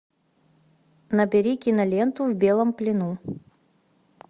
набери киноленту в белом плену